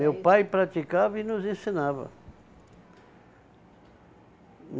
Meu pai praticava e nos ensinava.